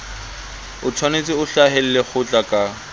otshwanetse o hlahelle kgotla ka